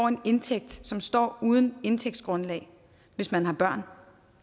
en indtægt som står uden indtægtsgrundlag hvis man har børn